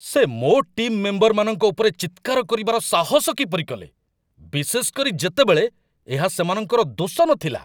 ସେ ମୋ ଟିମ୍ ମେମ୍ବରମାନଙ୍କ ଉପରେ ଚିତ୍କାର କରିବାର ସାହସ କିପରି କଲେ, ବିଶେଷ କରି ଯେତେବେଳେ ଏହା ସେମାନଙ୍କର ଦୋଷ ନଥିଲା!